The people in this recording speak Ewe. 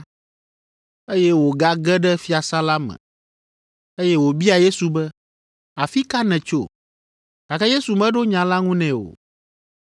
eye wògage ɖe fiasã la me, eye wòbia Yesu be, “Afi ka nètso?” Gake Yesu meɖo nya la ŋu nɛ o.